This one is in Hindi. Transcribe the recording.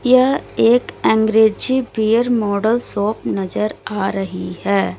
यह एक अंग्रेजी बियर मॉडल शॉप नजर आ रही है।